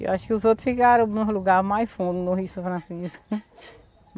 Eu acho que os outros ficaram em um lugar mais fundo, no Rio São Francisco.